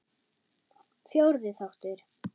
Fjórði þáttur